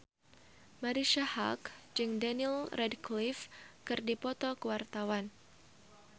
Marisa Haque jeung Daniel Radcliffe keur dipoto ku wartawan